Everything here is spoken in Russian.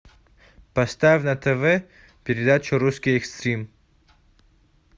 поставь на тв передачу русский экстрим